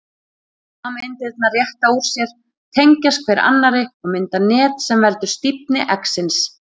Sameindirnar rétta úr sér, tengjast hver annarri og mynda net sem veldur stífni eggsins.